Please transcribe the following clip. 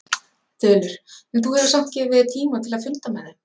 Þulur: En þú hefur samt gefið þér tíma til að funda með þeim?